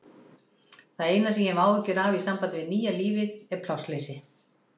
Það eina sem ég hef áhyggjur af í sambandi við nýja lífið er plássleysi.